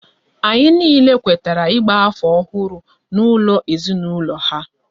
Anyị niile kwetara ịgba afọ ọhụrụ n'ụlọ ezinaụlọ ha